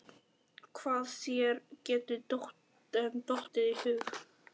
Hvað þér getur dottið í hug.